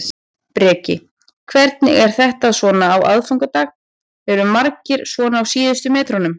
Breki: Hvernig er þetta svona á aðfangadag, eru margir svona á síðustu metrunum?